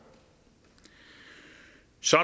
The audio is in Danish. så